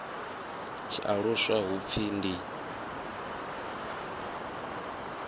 tshi aluswa hu pfi ndi